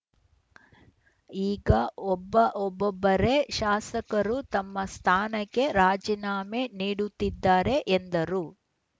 ಈಗ ಒಬ್ಬ ಒಬ್ಬೊಬರೇ ಶಾಸಕರು ತಮ್ಮ ಸ್ಥಾನಕ್ಕೆ ರಾಜೀನಾಮೆ ನೀಡುತ್ತಿದ್ದಾರೆ ಎಂದರು